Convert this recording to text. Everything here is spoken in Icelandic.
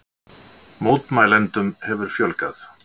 Mótmælendum hefur fjölgað